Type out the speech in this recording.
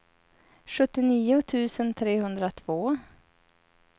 sjuttionio tusen trehundratvå